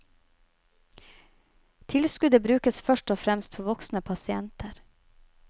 Tilskuddet brukes først og fremst på voksne pasienter.